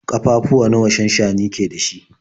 Ƙafafuwa nawa shansshani ke da shi?